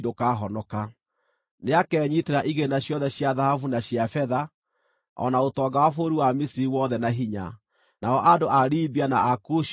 Nĩakenyiitĩra igĩĩna ciothe cia thahabu na cia betha, o na ũtonga wa bũrũri wa Misiri wothe na hinya, nao andũ a Libia na a Kushi mamwĩnyiihĩrie.